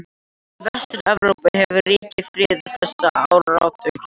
Í Vestur-Evrópu hefur ríkt friður þessa áratugi.